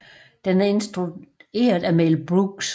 Den er instrueret af Mel Brooks